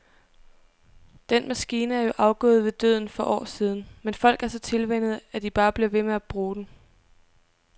Den maskine er jo afgået ved døden for år siden, men folk er så tilvænnet, at de bare bliver ved med at bruge den.